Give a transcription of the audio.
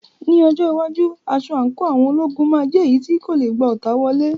Ní ọjọ́ iwájú, aṣọ àǹkóò àwọn ológun máa jẹ́ èyí tí kò lè gba ọta wọlé.